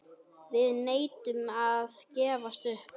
Við neitum að gefast upp.